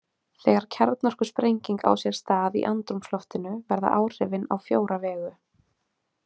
Þegar kjarnorkusprenging á sér stað í andrúmsloftinu verða áhrifin á fjóra vegu.